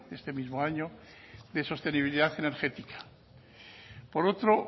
de este mismo año de sostenibilidad energética por otro